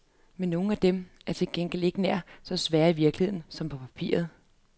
Men nogle af dem er til gengæld ikke nær så svære i virkeligheden, som på papiret.